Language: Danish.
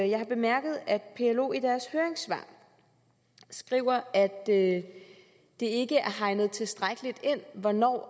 jeg har bemærket at plo i deres høringssvar skriver at det ikke er hegnet tilstrækkeligt ind hvornår